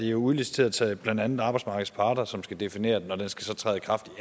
er udliciteret til blandt andet arbejdsmarkedets parter som skal definere den og den skal så træde i kraft